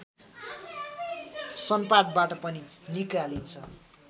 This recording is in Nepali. सनपाटबाट पनि निकालिन्छ